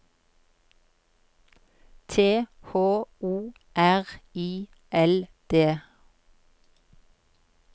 T H O R I L D